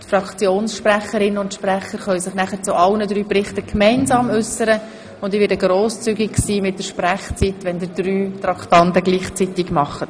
Die Fraktionssprecherinnen und sprecher können sich danach zu allen drei Berichten äussern, und ich werde grosszügig sein mit der Redezeit, da wir drei Traktanden gemeinsam behandeln.